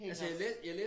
Hænger